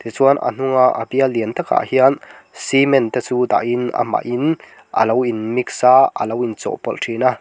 tichuan a hnunga a bial lian takah hian cement te chu dahin amahin alo in mix a alo in chawhpawlh thin a.